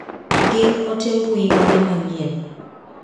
Gin ote mbui mage manyien ?